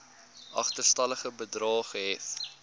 agterstallige bedrae gehef